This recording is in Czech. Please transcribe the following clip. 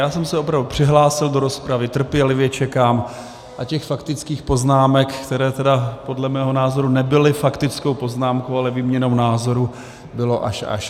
Já jsem se opravdu přihlásil do rozpravy, trpělivě čekám a těch faktických poznámek, které tedy podle mého názoru nebyly faktickou poznámkou, ale výměnou názorů, bylo až až.